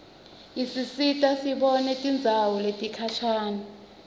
isisita sibone tindzawo letikhashane